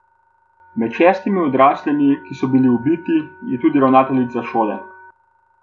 Med šestimi odraslimi, ki so bili ubiti, je tudi ravnateljica šole.